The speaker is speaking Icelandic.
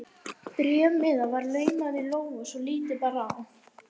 Bréfmiða var laumað í lófa svo lítið bar á.